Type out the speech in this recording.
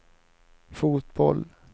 fotboll